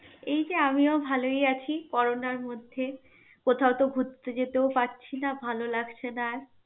এই যে আমিও ভালই আছি, করোনার মধ্যে. কোথাও তো ঘুরতে যেতেও পারছি না, ভালো লাগছে না আর.